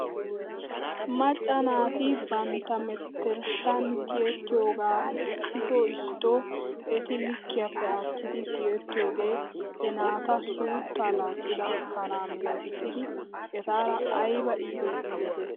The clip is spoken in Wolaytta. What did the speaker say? Macca naati bantta menttershan tiyettiyoogaa issiti issito eti likkiyaappe aattidi tiyettiyoogee he naata suutta laaccida kanaa milatissidi etaara ayba iites giidetii?